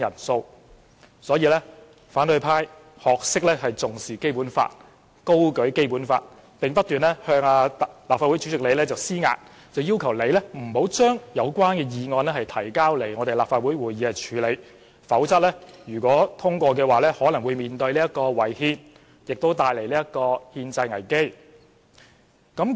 所以，反對派聲稱重視《基本法》，高舉《基本法》，並不斷向立法會主席施壓，要求主席不准將有關議案提交立法會會議處理，否則通過後可能會違憲，並帶來憲制危機。